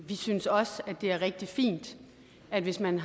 vi synes også det er rigtig fint at hvis man